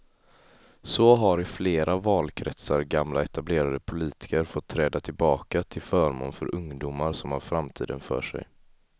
Så har i flera valkretsar gamla etablerade politiker fått träda tillbaka till förmån för ungdomar som har framtiden för sig.